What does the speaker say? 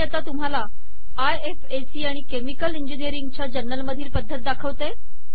मी आता तुम्हाला आयएफएसी आणि केमिकल इंजिनियरिंगच्या जर्नल मधील पद्धत दाखवते